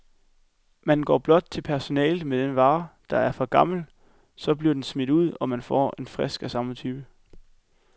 Man går blot til personalet med den vare, der er for gammel, så bliver den smidt ud, og man får en frisk af samme type.